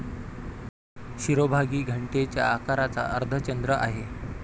शिरोभागी घंटेच्या आकाराचा अर्धचंद्र आहे.